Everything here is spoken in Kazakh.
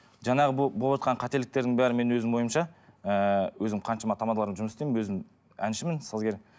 жаңағы болыватқан қателіктердің бәрі менің өзімнің ойымша ыыы өзім қаншама тамадалармен жұмыс істеймін өзім әншімін сазгер